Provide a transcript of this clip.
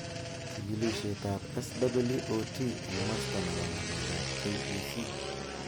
Chikilishet ab SWOT eng masta nebo ng'alek ab KEC